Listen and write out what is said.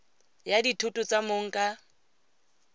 ya dithoto tsa mong ka